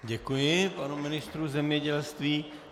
Děkuji panu ministru zemědělství.